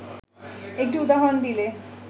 একটি উদাহরণ দিলে